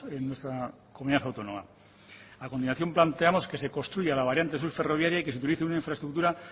en nuestra comunidad autónoma a continuación planteamos que se construya la variante sur ferroviaria y que se utilice una infraestructura